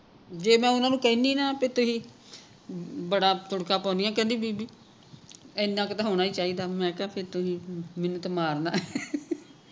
ਜੇ ਮੈਂ ਓਹਨਾ ਨੂੰ ਕਹਿਣੀ ਨਾ ਬੀ ਤੁਸੀਂ ਅਹ ਬੜਾ ਤੁੜਕਾ ਪਾਉਣੀਆਂ ਕਹਿੰਦੀ ਬੀਬੀ ਇੰਨਾ ਕੇ ਤੇ ਹੋਣਾ ਹੀ ਚਾਹੀਦਾ ਮੈਂ ਕਿਹਾ ਕੇ ਤੁਸੀਂ ਮੈਨੂੰ ਤੇ ਮਾਰਨਾ ਆਂ